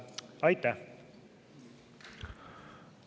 Aitäh!